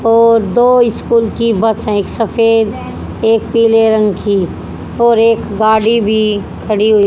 और दो इकूल की बस एक सफेद एक पीले रंग की और एक गाड़ी भी खड़ी हुई--